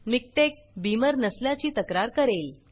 मिकटेक बीमर नसल्याची तक्रार करेल